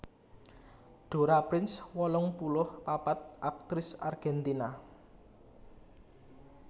Dora Prince wolung puluh papat aktris Argèntina